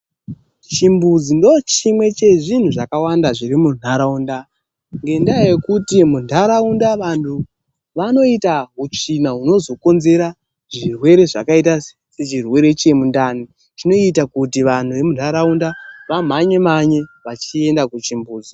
Chimbuzi ndochimwe chezvinhu zvakawanda zvirimuntaraunda. Ngendaa yekuti muntaraunda vanhu vanoita utsvina hunozokonzeresa zvirwere zvakadai nechirwere chemundani. Chinoita kuti vantu vazomhanye mhanye vechienda kuchimbuzi.